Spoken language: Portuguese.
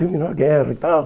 Terminou a guerra e tal.